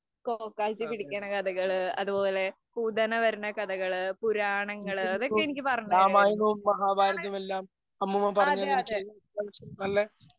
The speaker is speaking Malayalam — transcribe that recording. പോക്കാച്ചി പിടിക്കുന്ന കഥകള്‍. അതുപോലെ പൂതന വരുന്ന കഥകള്‍, പുരാണങ്ങള് അതൊക്കെ എനിക്ക് പറഞ്ഞുതരുമായിരുന്നു. അതേയതെ.